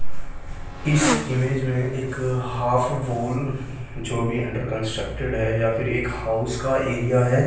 इस इमेज मे एक हाफ बोल जो भी अन्डर कॉन्सट्रकटेड है या फिर हाउस का एरिया है।